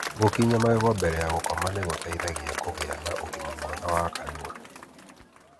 Gúkinya magego mbere ya gũkoma nĩ gũteithagia kũiga ũgima mwega wa kanua.